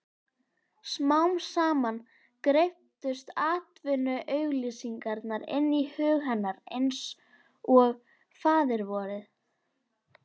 Smám saman greyptust atvinnuauglýsingarnar inn í hug hennar einsog Faðirvorið.